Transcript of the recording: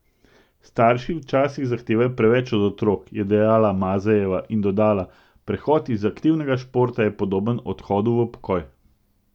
Starši včasih zahtevajo preveč od otrok," je dejala Mazejeva in dodala: "Prehod iz aktivnega športa je podoben odhodu v pokoj.